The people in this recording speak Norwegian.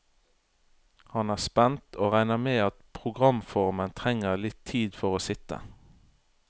Han er spent, og regner med at programformen trenger litt tid for å sitte.